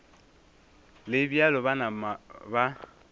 le bjalo ba napa ba